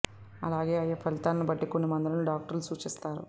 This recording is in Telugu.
అలాగే అయా ఫలితాలను బట్టి కొన్ని మందులను డాక్టర్లు సూచిస్తారు